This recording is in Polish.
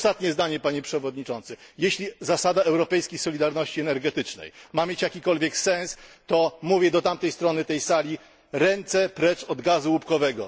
I ostatnie zdanie, Panie Przewodniczący jeśli zasada europejskiej solidarności energetycznej ma mieć jakikolwiek sens, to mówię do tamtej strony tej sali ręce precz od gazu łupkowego.